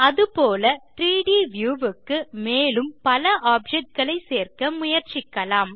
அதுபோல 3ட் வியூ க்கு மேலும் பல ஆப்ஜெக்ட் களை சேர்க்க முயற்சிக்கலாம்